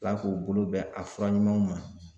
Ala k'u bolo bɛn a fura ɲumanw ma